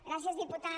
gràcies diputat